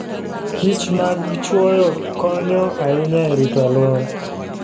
kichmag chwoyo konyo ahinya e rito alwora.